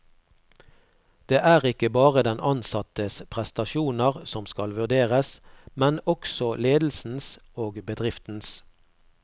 Det er ikke bare den ansattes prestasjoner som skal vurderes, men også ledelsens og bedriftens.